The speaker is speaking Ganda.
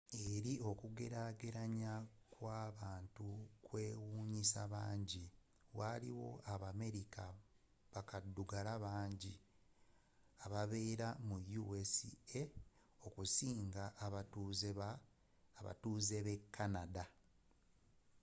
eri okugerageranya kw'abantu okwewunyiisa abangi waliwo abamerika bakaddugala banji ababeera mu us okusinga abatuuze be canada